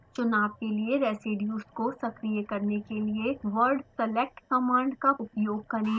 चुनाव के लिए residues को सक्रिय करने के लिए वर्ड select command का उपयोग करें